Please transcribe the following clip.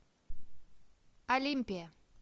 олимпия